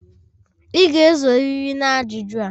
Ị ga-esorịrị na ajụjụ a.